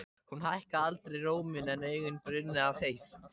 Hún hækkaði aldrei róminn en augun brunnu af heift.